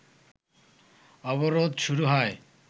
অবরোধ শুরু হয়